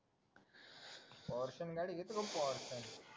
ऑर्थन गाडी एकदम पौश हाय